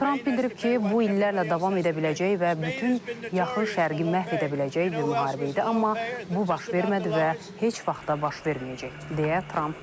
Tramp bildirib ki, bu illərlə davam edə biləcək və bütün yaxın şərqi məhv edə biləcək bir müharibə idi, amma bu baş vermədi və heç vaxt da baş verməyəcək, deyə Tramp qeyd edib.